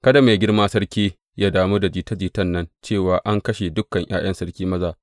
Kada mai girma sarki yă damu da jita jitan nan cewa an kashe dukan ’ya’yan sarki maza.